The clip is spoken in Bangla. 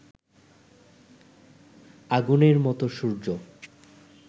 আগুনের মতো সূর্য